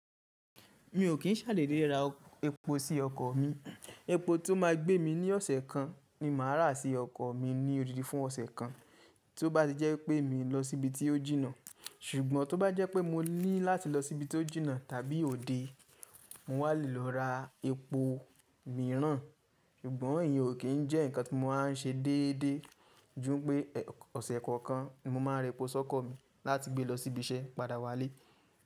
Mi ò kín ṣà dédé ra epo sí ọkọ̀ mi. Epo tí ó ma gbé mi ní ọ̀sẹ̀ kan ni màá rà sí ọkọ̀ mi ní odidi fún ọ̀sẹ̀ kan. Tí ó bá ti jẹ́ wípé mi lọ sí ìbi tí ó jìnà. Ṣùgbọ́n tó bá jẹ́ pé mo ní láti lọ sí ibi tí ó jìnà tàbí òde, mo wà le lọ ra epo mìíràn. Ṣùgbọ́n èyan ò kín jẹ́ nǹkan tí mo máa n ṣe déédéé. Ju npé ọ̀sẹ̀ kọ̀ọ̀kan ni mo máa ra epo sọ́kọ mi láti gbé lọ sí ibi iṣẹ́ padà wá lé.